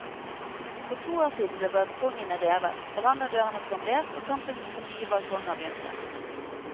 For to år siden ble balkongene revet, verandadørene plombert og kampen for nye balkonger begynte.